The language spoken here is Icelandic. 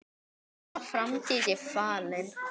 Þó að framtíð sé falin